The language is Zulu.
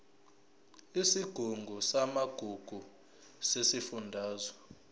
isigungu samagugu sesifundazwe